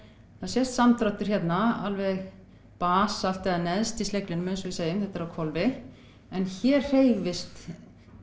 það sést samdráttur hérna alveg basalt eða neðst í sleglinum þetta er á hvolfi en hér hreyfist